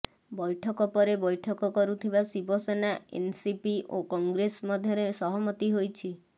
ବୈଠକ ପରେ ବୈଠକ କରୁଥିବା ଶିବସେନା ଏନସିପି ଓ କଂଗ୍ରେସ ମଧ୍ୟରେ ସହମତି ହୋଇଛି